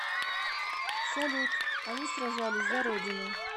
салют они сражались за родину